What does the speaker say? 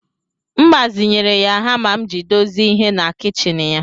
M gbazinyere ya hama m iji dozie ihe na kichin ya